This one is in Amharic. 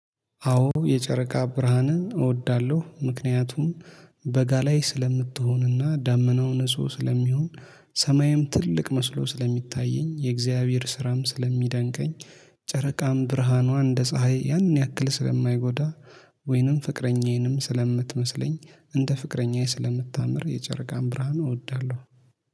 አዎ የጨረቃ ብርሃንን እወዳለሁ። ምክንያቱም በጋ ላይ ስለምትሆንና ዳመናው ንጹህ ስለሚሆን ሰማይም ትልቅ መስሎ ስለሚታየኝ የእግዚአብሔር ስራም ስለሚደንቀኝ። ጨረቃም ብርሃኗ እንደ ፀሀይ ያን ያክል ስለማይጎዳ። ወይንም ፍቅረኛዬንም ስለምትመስለኝ እንደ ፍቅረኛዬ ስለምታምር የጨረቃን ብርሃኑ እወዳለሁ